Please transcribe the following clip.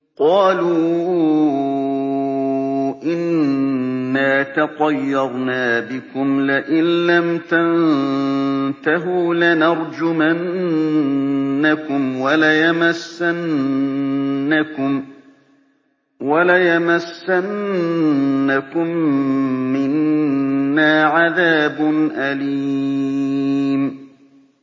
قَالُوا إِنَّا تَطَيَّرْنَا بِكُمْ ۖ لَئِن لَّمْ تَنتَهُوا لَنَرْجُمَنَّكُمْ وَلَيَمَسَّنَّكُم مِّنَّا عَذَابٌ أَلِيمٌ